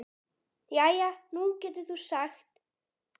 Jæja, nú getur þú þá sagt henni góðar fréttir.